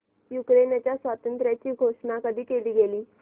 युक्रेनच्या स्वातंत्र्याची घोषणा कधी केली गेली